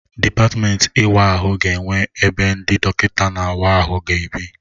Dịpatmenti ịwa ahụ ga-enwe ebe ndị dọkịta na-awa ahụ ga ebi.